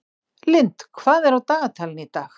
Lynd, hvað er á dagatalinu í dag?